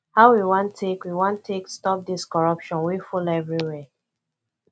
how we wan take we wan take stop dis corruption wey full everywhere